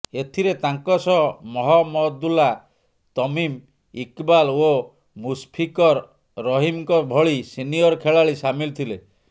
ଏଥିରେ ତାଙ୍କ ସହ ମହମଦୁଲ୍ଲା ତମିମ୍ ଇକବାଲ ଓ ମୁଶଫିକର ରହିମଙ୍କ ଭଳି ସିନିୟର ଖେଳାଳି ସାମିଲ୍ ଥିଲେ